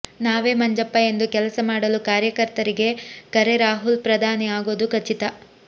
ನಾವೇ ಮಂಜಪ್ಪ ಎಂದು ಕೆಲಸ ಮಾಡಲು ಕಾರ್ಯಕರ್ತರಿಗೆ ಕರೆರಾಹುಲ್ ಪ್ರಧಾನಿ ಆಗೋದು ಖಚಿತ